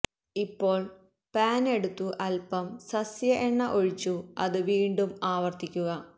ഇപ്പോൾ പാൻ എടുത്തു അല്പം സസ്യ എണ്ണ ഒഴിച്ചു അത് വീണ്ടും ആവർത്തിക്കുക